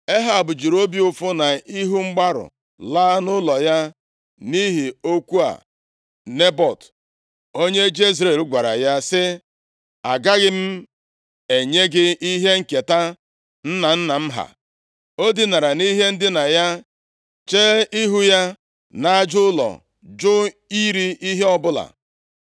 Ehab jiri obi ụfụ na ihu mgbarụ laa nʼụlọ ya nʼihi okwu a Nebọt, onye Jezril gwara ya, sị, “Agaghị m enye gị ihe nketa nna nna m ha.” O dinara nʼihe ndina ya, chee ihu ya nʼaja ụlọ, jụ iri ihe ọbụla.